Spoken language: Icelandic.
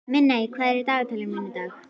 Minney, hvað er í dagatalinu mínu í dag?